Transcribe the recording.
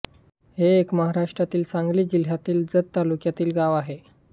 हे एक महाराष्ट्रातील सांगली जिल्ह्यातीलजत तालुक्यातील गाव आहे